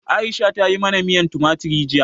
Aisha ta yi mana miyan tumatir jiya.